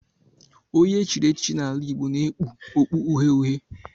Onye e chiri echichi n'ala Igbo na-ekpu okpu uhie uhie